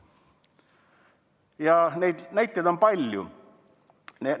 Ja neid näiteid on palju.